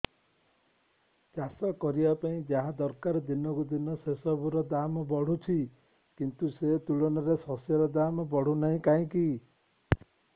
ଚାଷ କରିବା ପାଇଁ ଯାହା ଦରକାର ଦିନକୁ ଦିନ ସେସବୁ ର ଦାମ୍ ବଢୁଛି କିନ୍ତୁ ସେ ତୁଳନାରେ ଶସ୍ୟର ଦାମ୍ ବଢୁନାହିଁ କାହିଁକି